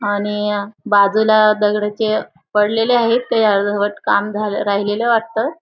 आणि बाजूला दगड जे पडलेले आहेत ते अर्धवट काम झालं राहिलेले वाटतं.